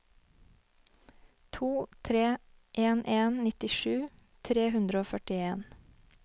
to tre en en nittisju tre hundre og førtien